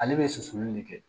Ale bɛ susuli nin de kɛ